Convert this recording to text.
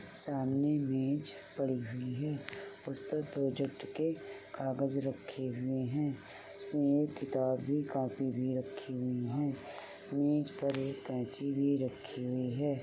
सामने मेज पड़ी हुई है। उसपे प्रोजेक्ट के कागज रखे हुए है मेज पे किताब कापी भी रखी हुई है। मेज पर एक कैंची भी रखी हुई है।